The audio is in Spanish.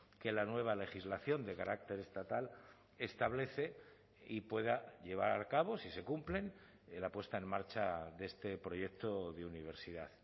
que la nueva legislación de carácter estatal establece y pueda llevar a cabo si se cumplen la puesta en marcha de este proyecto de universidad